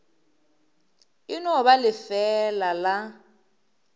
e no ba lefeela la